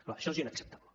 clar això és inacceptable